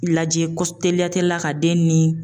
Lajɛ teliya tteliya la ka den ni